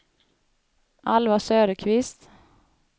Alva Söderqvist